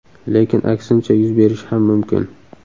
Lekin aksincha yuz berishi ham mumkin.